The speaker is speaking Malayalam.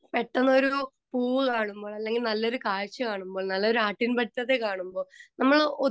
സ്പീക്കർ 2 പെട്ടെന്നൊരു പൂവ് കാണുമ്പോൾ അല്ലങ്കിൽ നല്ല കാഴ്ച കാണുമ്പോള് നല്ലൊരു ആട്ടിൻ പറ്റത്തെ കാണുമ്പോൾ നമ്മള്